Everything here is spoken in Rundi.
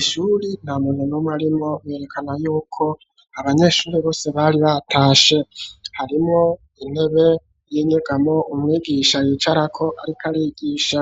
Ishure ntamuntu numwe arimwo werekana yuko abanyeshure bose bari batashe harimwo intebe y'inyegamo umwigisha yicara ko ariko arigisha